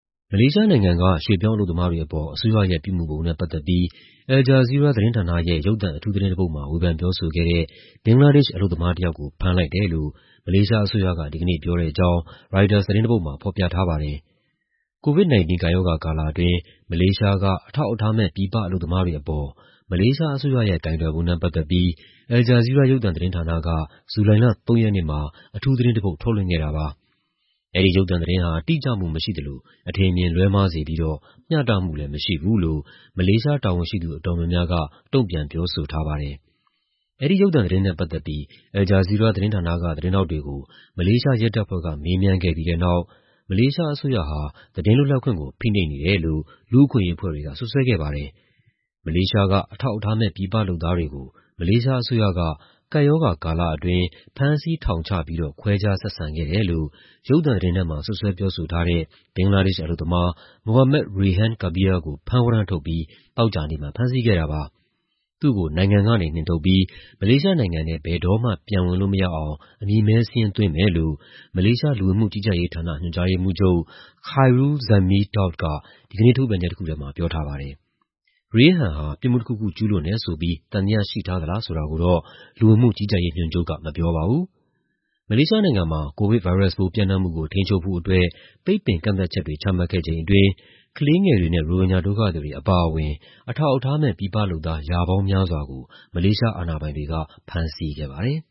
မလေးရှားနိုင်ငံက ရွှေ့ပြောင်းအလုပ်သမားတွေအပေါ် အစိုးရရဲ့ ပြုမူပုံနဲ့ ပတ်သက်ပြီး Al Jazeera သတင်းဌာနရဲ့ ရုပ်သံအထူးသတင်းတပုဒ်မှာ ဝေဖန်ပြောဆိုခဲ့တဲ့ ဘင်္ဂလားဒေ့ရှ် အလုပ်သမားတယောက်ကို ဖမ်းလိုက်တယ်လို့ မလေးရှားအစိုးရက ဒီကနေ့ ပြောတဲ့အကြောင်း ရိုက်တာသတင်းတပုဒ်မှာ ဖော်ပြထားပါတယ်။ COVID-19 ကပ်ရောဂါကာလအတွင်း မလေးရှားက အထောက်အထားမဲ့ ပြည်ပအလုပ်သမားတွေအပေါ် မလေးရှားအစိုးရရဲ့ ကိုင်တွယ်ပုံနဲ့ ပတ်သက်ပြီး Al Jazeera ရုပ်သံသတင်းဌာနက ဇူလိုင်လ ၃ ရက်နေ့မှာ အထူးသတင်းတပုဒ် ထုတ်လွှင့်ခဲ့တာပါ။ အဲဒီရုပ်သံသတင်းဟာ တိကျမှုမရှိသလို အထင်အမြင် လွဲမှားစေပြီးတော့ မျှတမှုလည်း မရှိဘူးလို့ မလေးရှားတာဝန်ရှိသူ အတော်များများက တုံ့ပြန် ပြောဆိုထားပါတယ်။ အဲဒီရုပ်သံသတင်းနဲ့ ပတ်သက်ပြီး Al Jazeera သတင်းဌာနက သတင်းထောက်တွေကို မလေးရှားရဲတပ်ဖွဲ့က မေးမြန်းခဲ့ပြီးတဲ့နောက် မလေးရှားအစိုးရဟာ သတင်းလွတ်လပ်ခွင့်ကို ဖိနှိပ်နေတယ်လို့ လူ့အခွင့်အရေး အဖွဲ့တွေက စွပ်စွဲခဲ့ပါတယ်။ မလေးရှားက အထောက်အထားမဲ့ ပြည်ပလုပ်သားတွေကို မလေးရှားအစိုးရက ကပ်ရောဂါကာလအတွင်း ဖမ်းဆီး ထောင်ချပြီးတော့ ခွဲခြားဆက်ဆံခဲ့တယ်လို့ ရုပ်သံသတင်းထဲမှာ စွပ်စွဲပြောဆိုထားတဲ့ ဘင်္ဂလားဒေ့ရှ်အလုပ်သမား Md Rayhan Kabir ကို ဖမ်းဝရမ်းထုတ်ပြီး သောကြာနေ့မှာ ဖမ်းဆီးခဲ့တာပါ။ သူ့ကို နိုင်ငံကနေ နှင်ထုတ်ပြီး မလေးရှားနိုင်ငံထဲ ဘယ်တော့မှ ပြန်ဝင်လို့မရအောင် အမည်မည်းစာရင်း သွင်းမယ်လို့ မလေးရှား လူဝင်မှုကြီးကြပ်ရေးဌာန ညွှန်ကြားရေးမှူးချုပ် Khairul Dzaimee Daud က ဒီကနေ့ ထုတ်ပြန်ချက်တခုထဲမှာ ပြောထားပါတယ်။ Rayhan ဟာ ပြစ်မှုတခုခု ကျူးလွန်တယ်ဆိုပြီး သံသယရှိထားသလား ဆိုတာကိုတော့ လူဝင်မှုကြီးကြပ်ရေးညွှန်ချုပ်က မပြောပါဘူး။ မလေးရှားနိုင်ငံမှာ ကိုဗစ်ဗိုင်းရပ်စ်ပိုး ပျံ့နှံ့မှုကို ထိန်းချုပ်ဖို့အတွက် ပိတ်ပင်ကန့်သတ်ချက်တွေ ချမှတ်ခဲ့ချိန်အတွင်း ကလေးငယ်တွေနဲ့ ရိုဟင်ဂျာ ဒုက္ခသည်တွေ အပါအဝင် အထောက်အထားမဲ့ ပြည်ပလုပ်သား ရာပေါင်းများစွာကို မလေးရှား အာဏာပိုင်တွေက ဖမ်းဆီးခဲ့ပါတယ်